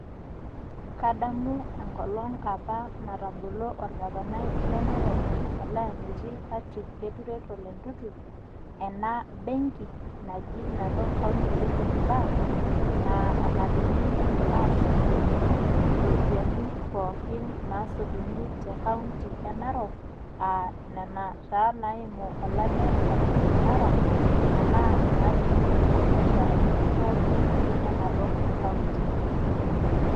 Kadamu enkolong apa natabolo orgavanai apa le narok olayanyie Patrick keturet ole ntuntu ,ena benki naji Narok Revenue Bank naa enatumieki aashumie ropiyiani pooikin naasotuni te county enarok aa nena taa naimu olale le masai mara enaa naatumi too mbiasharani pookin enarok county.